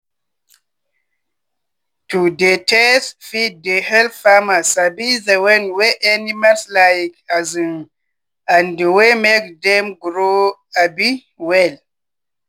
to dey test feed dey help farmer sabi the one wey animals like um and wey make dem grow um well.